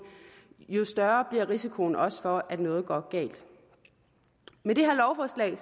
jo større bliver risikoen også for at noget går galt med det her lovforslag